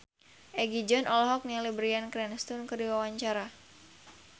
Egi John olohok ningali Bryan Cranston keur diwawancara